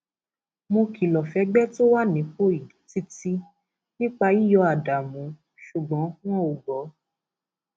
mo kìlọ fẹgbẹ tó wà nípò yìí títí nípa yíyọ ádámù ṣùgbọn wọn ò gbọ